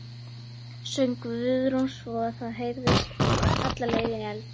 söng Guðrún svo að það heyrðist alla leið inn í eldhús.